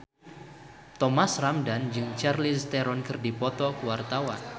Thomas Ramdhan jeung Charlize Theron keur dipoto ku wartawan